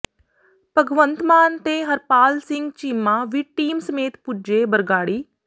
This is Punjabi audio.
ਭਗਵੰਤ ਮਾਨ ਤੇ ਹਰਪਾਲ ਸਿੰਘ ਚੀਮਾ ਵੀ ਟੀਮ ਸਮੇਤ ਪੁੱਜੇ ਬਰਗਾੜੀ